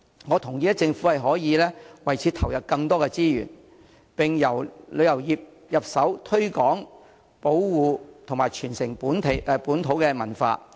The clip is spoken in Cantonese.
我同意政府可以為此投入更多資源，並由旅遊業入手推廣、保護和傳承本土文化。